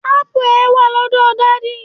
ápù e wa lọdọ daddy